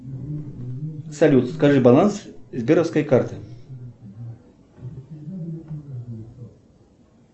салют скажи баланс сберовской карты